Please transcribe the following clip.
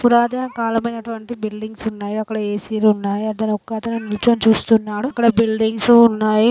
పురాతన కాలమైనటువంటి బిల్డింగ్స్ ఉన్నాయ్. అక్కడ ఎ_సి లు ఉన్నాయ్. అక్కడ ఒకతను నించొని చూస్తున్నాడు. అక్కడ బిల్దింగ్సు ఉన్నాయ్.